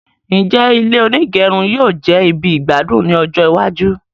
Njẹ ilé onígẹrun yóò jẹ ibì igbadun ní ọjọ iwájú?